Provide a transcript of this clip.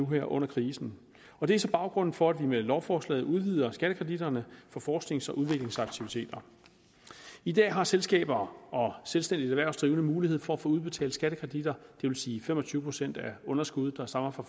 her under krisen det er så baggrunden for at vi med lovforslaget udvider skattekreditterne for forsknings og udviklingsaktiviteter i dag har selskaber og selvstændigt erhvervsdrivende mulighed for at få udbetalt skattekreditter det vil sige fem og tyve procent af underskuddet der stammer fra